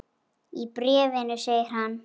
Í bréfinu segir hann